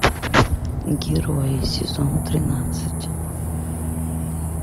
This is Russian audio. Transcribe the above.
герои сезон тринадцать